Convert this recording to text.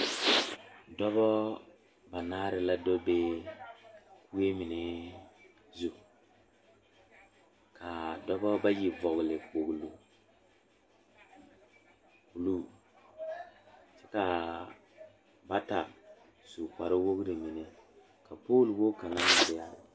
Dɔɔba daga la biŋ ka noba meŋ are poɔ nasadɔɔ ane nasapɔgeba la lantaa eŋ nyanoo woɔre ka lɔ a biŋ kɔŋ ba ka yie meŋ are a pegle ba kyɛ ka teere meŋ gaa saa a yie puori a Kobe.